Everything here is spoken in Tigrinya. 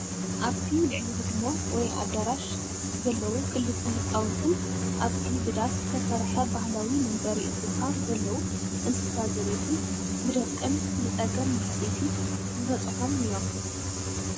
ኣብቲ ልዕሊ ህድሞ ወይ ኣደራሽ ለዘዉ ክልተ ህፃውንትን ኣብቲ ብዳስ ዝትሰርሐ ባህላዊ መንበሪ እንስሳ ዘለዉ እንስሳ ዘቤትን ብድርቅን ብፀገም ማህሰይቲ ዝበፅሒም እዮም፡፡